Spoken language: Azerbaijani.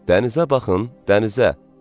Dənizə baxın, dənizə!